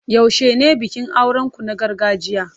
Yaushe ne bikin auren ku na gargajiya?